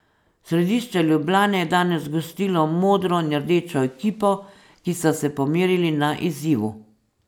Središče Ljubljane je danes gostilo modro in rdečo ekipo, ki sta se pomerili na izzivu.